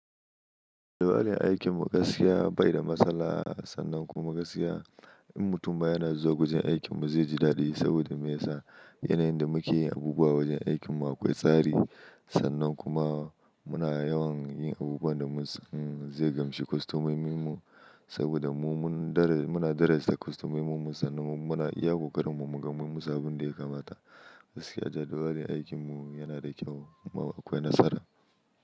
Yanayin aikin mu gaskiya bai da matsala, sannan kuma gaskiya, in mutum ba yana zuwa wajen aikin mu zai ji dadi saboda me yasa? Yanayin da muke yi abubuwa wajen aikin mu akwai tsari. Sannan kuma, muna yawan yin abubuwan da zai gamshe kostomomin mu, saboda mu muna darajanta kostomomin mu. Sannan muna iya kokarin mu, mu ga mummu su abin da ya kamata. Gaskiya judawali, aikin mu yana da kyau, kuma akwai nasara.